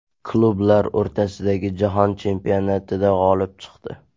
Klublar o‘rtasidagi Jahon chempionatida g‘olib chiqdi.